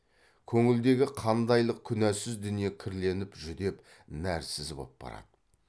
көңілдегі қандайлық күнәсіз дүние кірленіп жүдеп нәрсіз боп барады